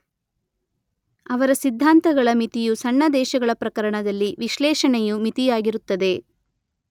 ಅವರ ಸಿದ್ಧಾಂತಗಳ ಮಿತಿಯು ಸಣ್ಣ ದೇಶಗಳ ಪ್ರಕರಣದಲ್ಲಿ ವಿಶ್ಲೇಷಣೆಯು ಮಿತಿಯಾಗಿರುತ್ತದೆ.